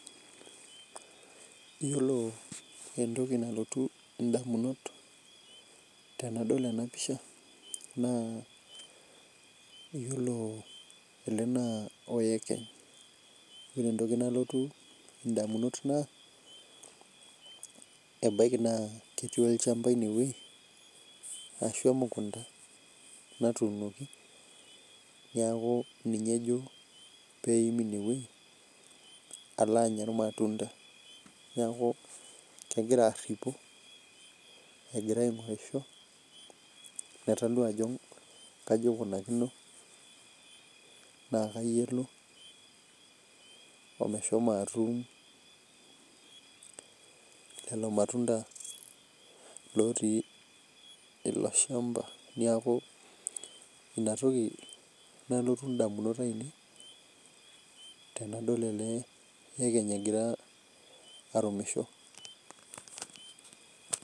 Iyiolo entoki nalotu damunot tena pisha. naa iyiolo ele naa oyekenyi. iyioolo entoki nalotu damunot. naa ebaiki naa ketii olchampa ine wueji. arashu emukunta natuunoki. neeku ninye ejo pee etum ine wueji, alo Anya irmatunda. neeku kegira aripu, egira aingorisho. pee etalu ajo kajo ikunakino naa kaji elo, omeshomo atum lelo matunda. lotii ilo shampa niaku Ina toki nalotu damunot ainei. tenadol ele yekenyi egira arumisho.